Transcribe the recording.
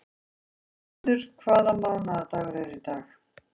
Auður, hvaða mánaðardagur er í dag?